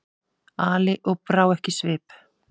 Ali og brá ekki svip.